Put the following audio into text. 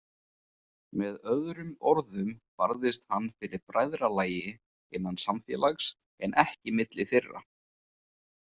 Með öðrum orðum barðist hann fyrir bræðralagi, innan samfélags, en ekki milli þeirra.